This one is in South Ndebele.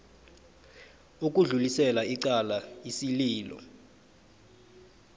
ukudlulisela icala isililo